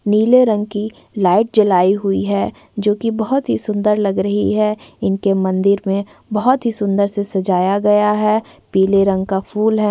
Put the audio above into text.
नीले रंग की लाइट जलाई हुई है जो कि बहोत ही सुंदर लग रही है इनके मंदिर में बहोत ही सुंदर से सजाया गया है पीले रंग का फूल है।